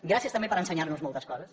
gràcies també per ensenyar nos moltes coses